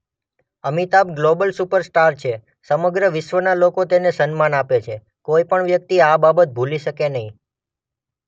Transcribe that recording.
Amitabh global superstar છે.સમગ્ર વિશ્વના લોકો તેને સન્માન આપે છે કોઈ વ્યક્તિ આ બાબત ભૂલી શકે નહીં.